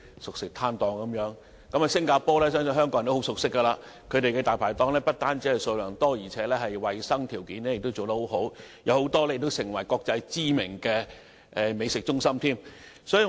相信香港人都對新加坡很熟悉，當地"大牌檔"數量很多，衞生條件亦很好，也有很多國際知名的美食中心。